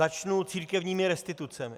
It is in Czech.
Začnu církevními restitucemi.